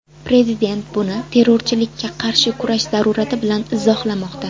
Prezident buni terrorchilikka qarshi kurash zarurati bilan izohlamoqda.